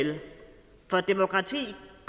det